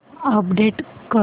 update कर